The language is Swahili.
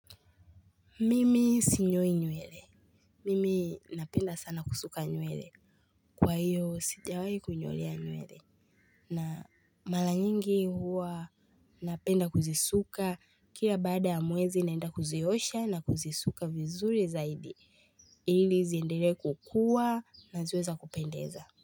Mimi sinyoi nywele. Mimi napenda sana kusuka nyuele. Kwa hiyo, sijawahi kunyolea nywele. Na mala nyingi huwa napenda kuzisuka. Kila baada ya mwezi naenda kuziosha na kuzisuka vizuri zaidi. Ili ziendelee kukuwa na ziwe za kupendeza.